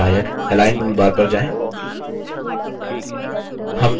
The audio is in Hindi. अब दूसरे बुनियादी सहायकalign toolbar पर जाएँ